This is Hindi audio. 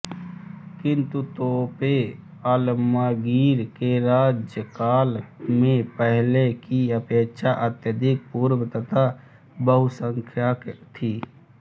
किन्तु तोपें आलमगीर के राज्यकाल में पहले की अपेक्षा अत्याधिक पूर्ण तथा बहुसंख्यक थीं